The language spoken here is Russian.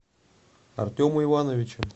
артема ивановича